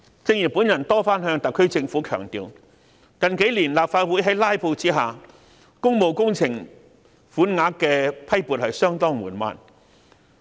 正如我多次向特區政府強調，近幾年在立法會"拉布"的情況下，批撥款項予工務工程的速度相當緩慢。